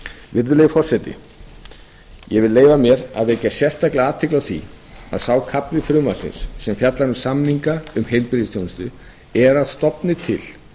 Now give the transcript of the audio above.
virðulegi forseti ég vil leyfa mér að vekja sérstaka athygli á því að sá kafli frumvarpsins sem fjallar um samninga um heilbrigðisþjónustu er að stofni til